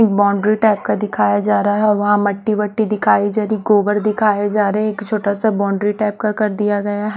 एक boundary type का दिखाया जा रहा हैं और वहां मट्टी वट्टी दिखाई जारी हैं गोबर दिखाया जा रहा हैं एक छोटा सा बाउंड्री टाइप का कर दिया गया हैं।